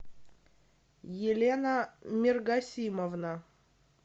елена мергасимовна